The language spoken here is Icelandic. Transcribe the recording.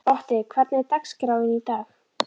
Otti, hvernig er dagskráin í dag?